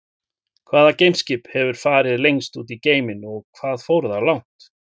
Hvaða geimskip hefur farið lengst út í geiminn og hvað fór það langt?